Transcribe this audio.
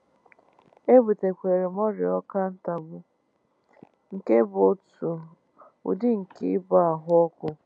E butere m ọrịa ọkà ntagbu, nke bụ́ otu udi nke ịba ahụ́ ọkụ.